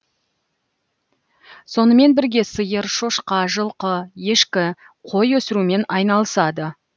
сонымен бірге сиыр шошқа жылқы ешкі қой өсірумен айналысады